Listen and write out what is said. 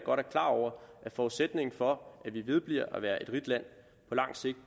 klar over at forudsætningen for at vi vedbliver at være et rigt land på lang sigt